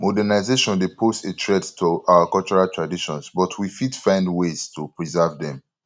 modernization dey pose a threat to our cultural traditions but we fit find ways to preserve dem